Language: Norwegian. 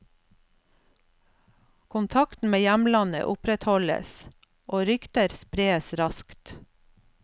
Kontakten med hjemlandet opprettholdes, og rykter spres raskt.